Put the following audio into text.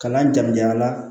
Kalan jamu jan na